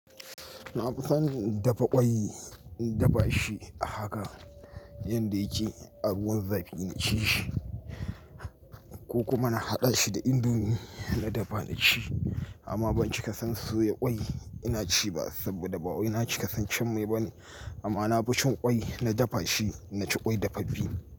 Na fi son dafa kwai, in dafa shi a haka yanda yake, a ruwan zafi na ci shi. Ko kuma na haɗa shi da indomi na dafa na ci. Amma ban cika san soya kwai ina ci ba saboda ba wani na cika san cin mai ba ne. Amma na fi cin kwai na dafa shi, na ci kwai dafaffe.